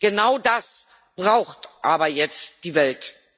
Genau das braucht aber jetzt die Welt.